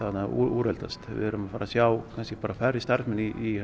úreldast við erum að fara að sjá kannski bara færri starfsmenn í